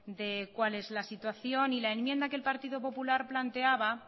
de cuál es la situación y la enmienda que el partido popular planteaba